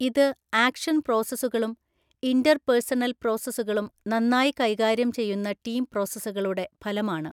ഇത് ആക്ഷൻ പ്രോസസുകളും ഇൻറ്റർപേർസണല്‍ പ്രോസസുകളും നന്നായി കൈകാര്യം ചെയ്യുന്ന ടീം പ്രോസസുകളുടെ ഫലമാണ്.